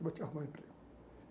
Eu vou te arrumar um emprego.